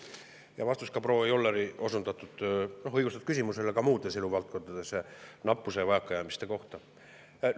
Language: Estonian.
Siin on vastus ka proua Jolleri õigustatud küsimusele nappuse ja vajakajäämiste kohta muudes eluvaldkondades.